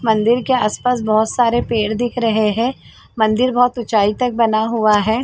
मंदिर के आस-पास बहुत सारे पेड़ दिख रहे है मंदिर बहुत ऊंचाई तक बनाया हुआ है।